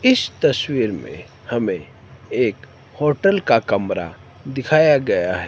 इस तस्वीर में हमें एक होटल का कमरा दिखाया गया है।